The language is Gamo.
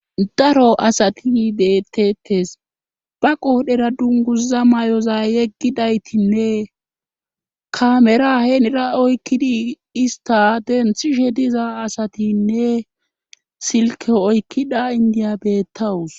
daro asati dettettes ba qoodhera dunguza may7oza yeggidaytinne kamera heenira oykkidi ista denthishe diza asatinne silke oykkida indiya bettawus